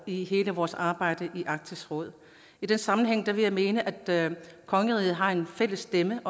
i hele vores arbejde i arktisk råd i den sammenhæng vil jeg mene at kongeriget har en fælles stemme